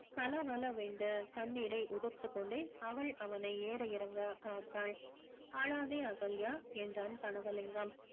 கல கல வென்று தண்ணீரை உதிர்த்து கொண்டே அவள் அவனை ஏற இறங்க பார்த்தாள் அழாதே அகல்யா என்றான் கனகலிங்கம்